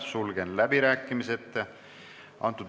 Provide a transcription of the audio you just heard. Sulgen läbirääkimised.